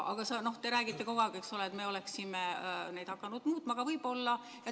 Aga te räägite kogu aeg, et me oleksime hakanud neid võib-olla muutma.